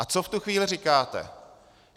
A co v tu chvíli říkáte?